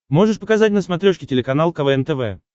можешь показать на смотрешке телеканал квн тв